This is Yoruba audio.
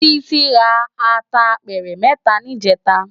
Titi rá àtá àpèrè mètá nijètá